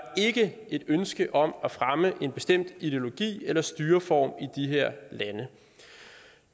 ikke et ønske om at fremme en bestemt ideologi eller styreform i de her lande